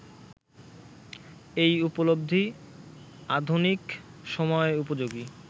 এই উপলব্ধি আধুনিক সময়োপযোগী